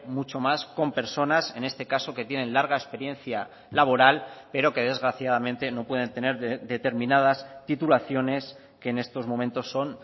mucho más con personas en este caso que tienen larga experiencia laboral pero que desgraciadamente no pueden tener determinadas titulaciones que en estos momentos son